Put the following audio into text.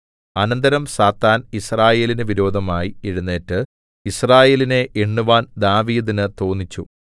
അനന്തരം സാത്താൻ യിസ്രായേലിന് വിരോധമായി എഴുന്നേറ്റു യിസ്രായേലിനെ എണ്ണുവാൻ ദാവീദിന് തോന്നിച്ചു